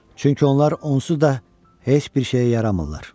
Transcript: Çünki onlar onsuz da heç bir şeyə yaramırlar.